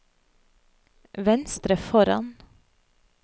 venstre foran